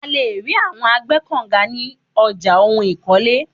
À le ri awọn agbẹ́kọ̀nga ní ọjà ohun ìkọ́lé.